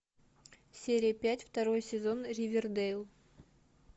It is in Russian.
серия пять второй сезон ривердейл